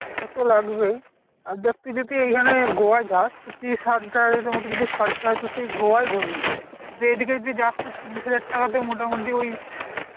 সেটা তো লাগবেই, আর দেখ তুই যদি এইখানে গোয়ায় যাস তো তুই ত্রিশ হাজার টাকা যদি খরচা হয় তো তুই গোয়ায় ঘুরবি। আর এদিকে যদি যাস তালে ত্রিশ হাজার টাকাতে মোটামুটি ওই